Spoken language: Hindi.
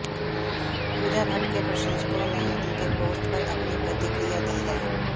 पूजा भट्ट के प्रशंसकों ने उनके पोस्ट पर अपनी प्रतिक्रिया दी है